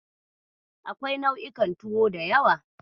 Akwai nau'ikan tuwo da yawa.